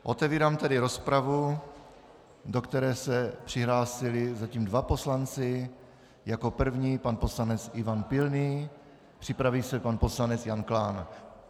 Otevírám tedy rozpravu, do které se přihlásili zatím dva poslanci - jako první pan poslanec Ivan Pilný, připraví se pan poslanec Jan Klán.